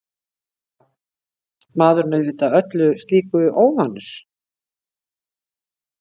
Maðurinn auðvitað öllu slíku óvanur.